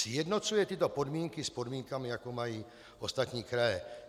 Sjednocuje tyto podmínky s podmínkami, jaké mají ostatní kraje.